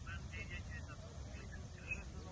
Bəndə yek hesabı necə eləyəcəyəm?